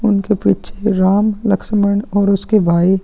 उनके पीछे राम लक्ष्मण और उसके भाई --